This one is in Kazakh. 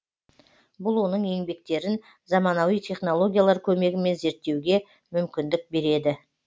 бұл оның еңбектерін заманауи технологиялар көмегімен зерттеуге мүмкіндік береді